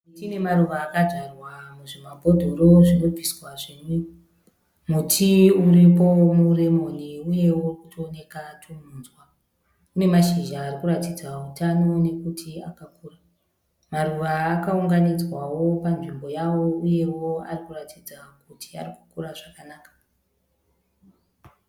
Miti nemaruva akadzvarwa muzvimabhodhoro zvinobviswa zvinwiwa. Muti uripo muremoni uyewo urikutooneka tumunzwa. Unemashizha arikuratidza hutano nokuti akakura. Maruva akaunganidzwawo panzvimbo yawo uyewo arikuratidza kuti arikukurawo zvakanaka.